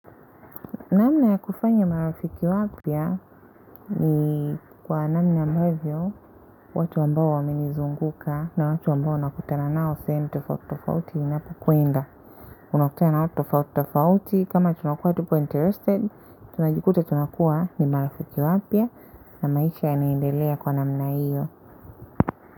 Namna ya kufanya marafiki wapya ni kwa namna ambavyo, watu ambao wananizunguka na watu ambao nakutana nao, sehemu tofauti tofauti ninapokwenda. Unakutana na watu tofauti tofauti, kama tunakuwa tupo interested, tunajikuta tunakuwa ni marafiki wapya, na maisha yanaendelea kwa namna hiyo.